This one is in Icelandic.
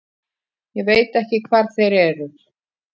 Ég veit ekki hvar þeir eru.